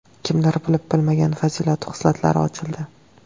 Kimlar bilib-bilmagan fazilatu xislatlari ochildi.